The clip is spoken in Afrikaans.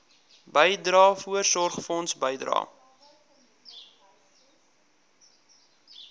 bydrae voorsorgfonds bydrae